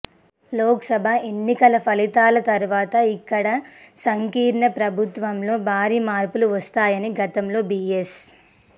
లోక్ సభ ఎన్నికల ఫలితాల తరువాత ఇక్కడి సంకీర్ణ ప్రభుత్వంలో భారీ మార్పులు వస్తాయని గతంలో బీఎస్